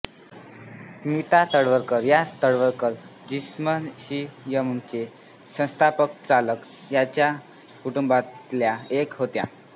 स्मिता तळवलकर या तळवलकर जिम्नॅशियमचे संस्थापकचालक यांच्या कुटुंबातल्या एक होत्या